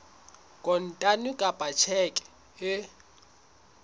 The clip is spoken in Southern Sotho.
kontane kapa ka tjheke e